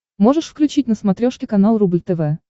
можешь включить на смотрешке канал рубль тв